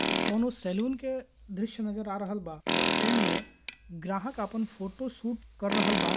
ये कोनों सलून के द्रश्य नजर आ रहल बा और ए मे ग्राहक आपण फोटोशूट कर रहल बा।